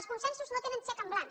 els consensos no tenen xec en blanc